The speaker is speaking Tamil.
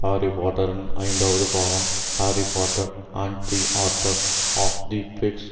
ஹாரி பாட்டரின் ஐந்தாவது பாகம் Harry Potter and the order of the peaks